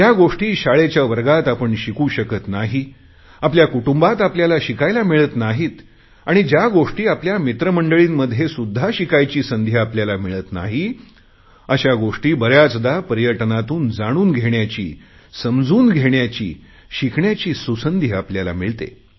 ज्या गोष्टी शाळेच्या वर्गात आपण शिकू शकत नाही आपल्या कुटुंबात आपल्याला शिकायला मिळत नाहीत आणि ज्या गोष्टी आपल्या मित्रमंडळींमध्ये सुध्दा शिकायची संधी आपल्याला मिळत नाही अशा गोष्टी बऱ्याचदा पर्यटनातून जाणून घेण्याची शिकण्याची सुसंधी आपल्याला मिळते